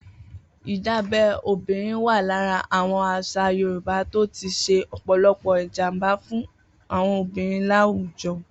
Idábẹ̀ òbìrín wà làrá awọn àṣà yòrùbá tó ti ṣé ọpọlọpọ ijàmbá fùn awọn obìrín làwújọ̀